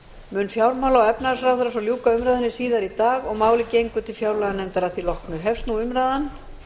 mun fjármála og efnahagsráðherra svo ljúka umræðunni síðar í dag og málið gengur til fjárlaganefndar að því loknu hefst nú umræðan